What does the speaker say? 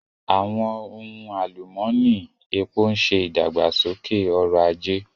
Àwọn ohun alumọni, epo ń ṣe ìdàgbàsókè ọrọ̀ ajé.